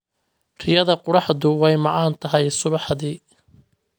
Riyada qorraxdu way macaan tahay subaxdii